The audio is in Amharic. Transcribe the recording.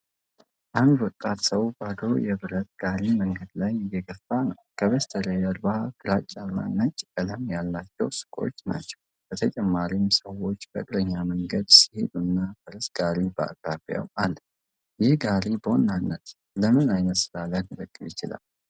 አንድ ወጣት ሰው ባዶ የብረት ጋሪ መንገድ ላይ እየገፋ ነው። ከበስተጀርባ ግራጫ እና ነጭ ቀለም ያላቸው ሱቆች ናቸው። በተጨማሪም ሰዎች በእግረኛ መንገድ ሲሄዱና ፈረስ ጋሪ በአቅራቢያው አለ። ይህ ጋሪ በዋናነት ለምን ዓይነት ሥራ ሊያገለግል ይችላል?